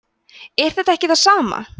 er þetta ekki það sama